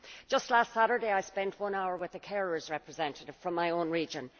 Just last Saturday I spent one hour with the carers' representative from my own region.